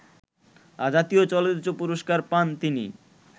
জাতীয় চলচ্চিত্র পুরস্কার পান তিনি